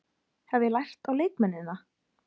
Hef ég lært á leikmennina?